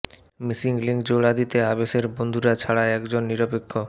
missing link জোড়া দিতে আবেশের বন্ধুরা ছাড়া একজন নিরপেক্ষ